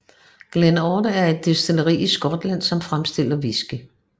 Glen Ord er et destilleri i Skotland som fremstiller whisky